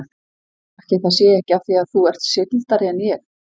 Ætli það sé ekki af því að þú ert sigldari en ég.